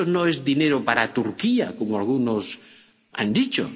Eso no es dinero para Turquía, como algunos han dicho.